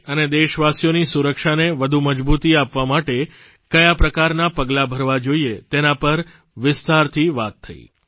દેશ અને દેશવાસીઓની સુરક્ષાને વધુ મજબૂતી આપવા માટે ક્યા પ્રકારનાં પગલાં ભરવાં જોઇએ તેના પર વિસ્તારથી વાત થઇ